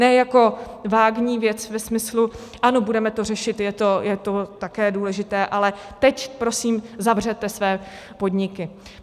Ne jako vágní věc ve smyslu: ano, budeme to řešit, je to také důležité, ale teď prosím zavřete své podniky.